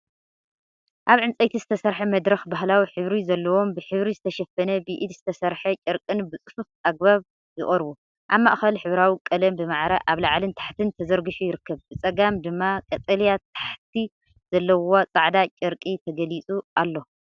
ኣብ ዕንጨይቲ ዝተሰርሐ መድረኽ ባህላዊ ሕብሪ ዘለዎም ብሕብሪ ዝተሸፈነ ብኢድ ዝተሰርሐ ጨርቅን ብጽፉፍ ኣገባብ ይቐርቡ። ኣብ ማእከል ሕብራዊ ቀለም ብማዕረ ኣብ ላዕልን ታሕትን ተዘርጊሑ ይርከብ። ብጸጋም ድማ ቀጠልያ ታሕቲ ዘለዎ ጻዕዳ ጨርቂ ተገሊጹ ኣሎ።